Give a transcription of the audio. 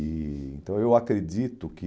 E então, eu acredito que...